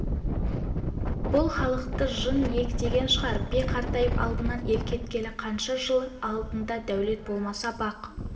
бұл халықты жын иектеген шығар би қартайып алдынан ел кеткелі қанша жыл алдыңда дәулет болмаса бақ